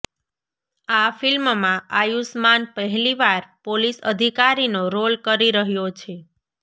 આ ફિલ્મમાં આયુષમાન પહેલીવાર પોલીસ અધિકારીનો રોલ કરી રહ્યો છે